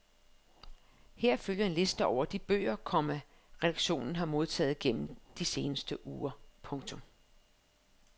Her følger en liste over de bøger, komma redaktionen har modtaget gennem de seneste uger. punktum